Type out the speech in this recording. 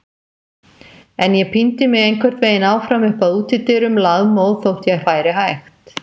En ég píndi mig einhvern veginn áfram upp að útidyrum, lafmóð þótt ég færi hægt.